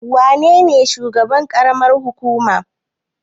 Wa nene shugaban ƙaramar hukuma?